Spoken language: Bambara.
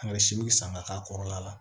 An ka siw san ka k'a kɔrɔla la